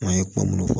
Maa ye kuma minnu